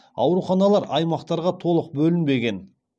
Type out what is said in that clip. ауруханалар аймақтарға толық бөлінбеген